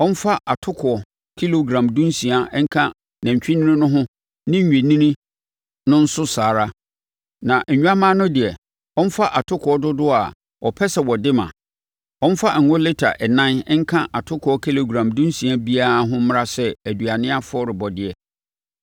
Ɔmfa atokoɔ kilogram dunsia nka nantwinini no ho ne nnwennini no nso saa ara, na nnwammaa no deɛ, ɔmfa atokoɔ dodoɔ a ɔpɛ sɛ ɔde ma. Ɔmfa ngo lita ɛnan nka atokoɔ kilogram dunsia biara ho mmra sɛ aduane afɔrebɔdeɛ.